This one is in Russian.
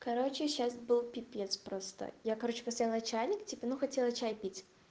короче сейчас был пипец просто я короче поставила чайник ну хотела чай пить